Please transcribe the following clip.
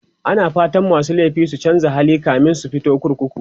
ana fatan masu laifi su chanza hali kamin su fito kurkuku